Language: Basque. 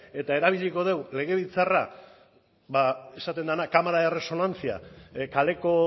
eta erabiliko dugu legebiltzarra ba esaten dena cámara de resonancia kaleko